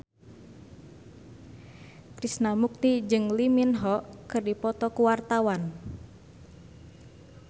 Krishna Mukti jeung Lee Min Ho keur dipoto ku wartawan